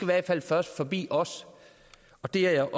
hvert fald først forbi os og det er